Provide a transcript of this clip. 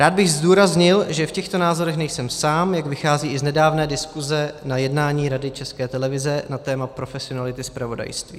Rád bych zdůraznil, že v těchto názorech nejsem sám, jak vychází i z nedávné diskuze na jednání Rady České televize na téma profesionality zpravodajství.